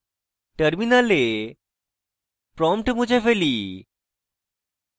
terminal prompt মুছে ফেলি